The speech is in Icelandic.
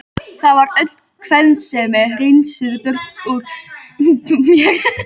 Það var öll kvensemi hreinsuð burt úr mér.